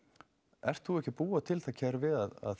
ert þú ekki að búa til þetta kerfi að þeir